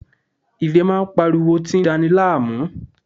Irè ń pariwo tí ń dani láàmú